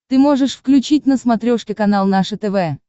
ты можешь включить на смотрешке канал наше тв